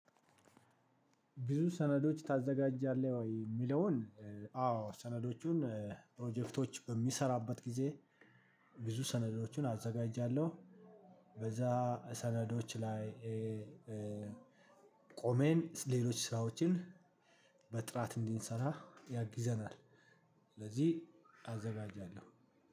ብዙ ሰነዶች ታዘጋጃለህ ወይ እሚለውን? አዎ ሰነዶቹን ፕሮጀክቶች በሚሰራበት ጊዜ ብዙ ሰነዶችን አዘጋጃለሁ። በዛ ሰነዶች ላይ ቆሜን ሌሎች ስራዎችን በጥራት እንዲንሰራ ያግዘናል። ስለዚህ አዘጋጃለሁ